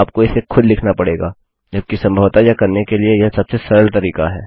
आप को इसे खुद लिखना पड़ेगा जबकि संभवतः यह करने के लिए यह सबसे सरल तरीका है